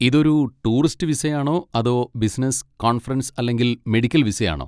ഇതൊരു ടൂറിസ്റ്റ് വിസയാണോ അതോ ബിസിനസ്, കോൺഫറൻസ് അല്ലെങ്കിൽ മെഡിക്കൽ വിസയാണോ?